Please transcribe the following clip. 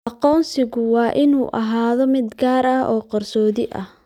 Aqoonsigu waa inuu ahaado mid gaar ah oo qarsoodi ah.